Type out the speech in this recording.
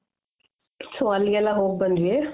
so ಅಲ್ಲಿಗೆ ಎಲ್ಲ ಹೋಗ್ ಬಂದ್ವಿ